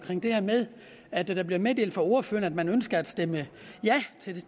det her med at der bliver meddelt fra ordføreren at man ønsker at stemme ja til